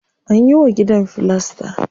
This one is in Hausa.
Anyi wa gidan filasta.